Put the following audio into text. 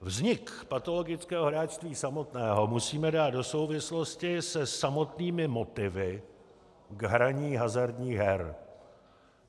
Vznik patologického hráčství samotného musíme dát do souvislosti se samotnými motivy k hraní hazardních her.